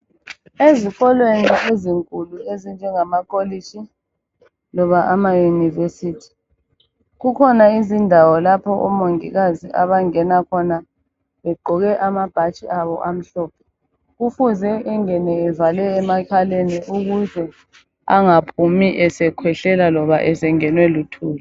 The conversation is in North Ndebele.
Ezikolweni ezinkulu ezinjengamakolitshi, loba amayunivesithi, kukhona izindawo lapho omongikazi abangena khona begqoke amabhatshi abo amhlophe. Kufuze engene evale emakhaleni ukuze angaphumi esekhwehlela loba esengenwe luthuli.